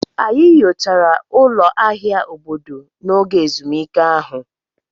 Anyị nyochara ụlọ ahịa obodo n'oge ezumike ahụ.